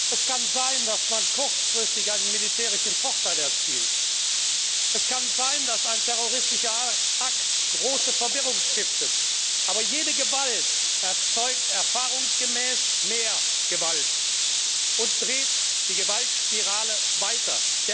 Es kann sein, dass man kurzfristig einen militärischen Vorteil erzielt, es kann sein, dass ein terroristischer Akt große Verwirrung stiftet, aber jede Gewalt erzeugt erfahrungsgemäß mehr Gewalt und dreht die Gewaltspirale weiter.